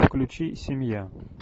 включи семья